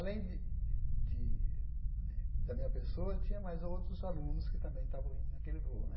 Além de de de da minha pessoa, tinha mais outros alunos que também estavam indo naquele voo né.